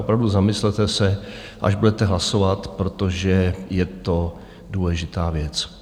Opravdu zamyslete se, až budete hlasovat, protože je to důležitá věc.